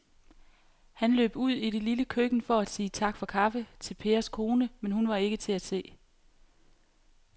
Han løb ud i det lille køkken for at sige tak for kaffe til Pers kone, men hun var ikke til at se.